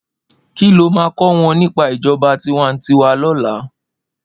Ki ló má kò wòn nipá ijòbá tiwàntiwá lòlá?